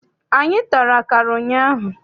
Anyị tara akara ụnyaahụ.